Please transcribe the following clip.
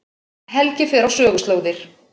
Helgi fer á söguslóðir